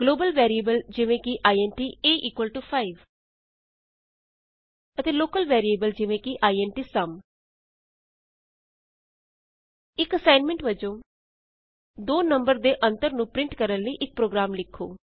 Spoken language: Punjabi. ਗਲੋਬਲ ਵੈਰੀਏਬਲ ਜਿਵੇਂ ਕਿ ਇੰਟ a 5 ਅਤੇ ਲੋਕਲ ਵੈਰੀਏਬਲ ਜਿਵੇਂ ਕਿ ਇੰਟ ਸੁਮ ਇਕ ਅਸਾਈਨਮੈਂਟ ਵਜੋਂ ਦੋ ਨੰਬਰ ਦੇ ਅੰਤਰ ਨੂੰ ਪਰਿੰਟ ਕਰਨ ਲਈ ਇਕ ਪ੍ਰੋਗਰਾਮ ਲਿਖੋ